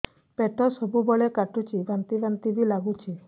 ପେଟ ସବୁବେଳେ କାଟୁଚି ବାନ୍ତି ବାନ୍ତି ବି ଲାଗୁଛି